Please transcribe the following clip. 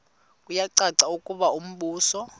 kuyacaca ukuba umbuso